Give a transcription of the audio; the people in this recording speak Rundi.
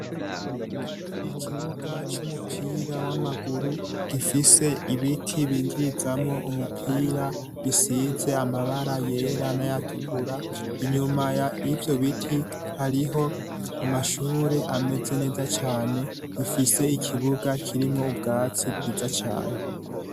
Ikibuga c'umupira w'amaguru gifise ibiti binjirizamo umupira bisize amabara yera n'ayatukura inyuma y'ivyo biti hariho amashure ameze neza cane gifise ikibuga kirimwo ubwatsi bwiza cane